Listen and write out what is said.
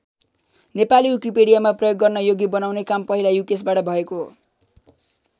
नेपाली विकिपिडियामा प्रयोग गर्न योग्य बनाउने काम पहिला युकेशबाट भएको हो।